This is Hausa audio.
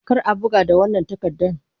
Kar a buga da wannan takardan!